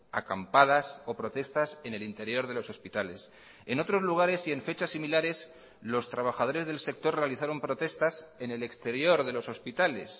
acampadas o protestas en el interior de los hospitales en otros lugares y en fechas similares los trabajadores del sector realizaron protestas en el exterior de los hospitales